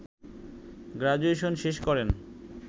graduation শেষ করেন